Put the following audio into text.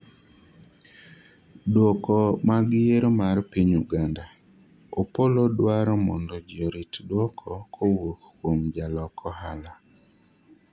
duoko mag yiero mar piny Uganda :Opollo dwaro mondo ji orit duoko kowuok kuom jalok ohala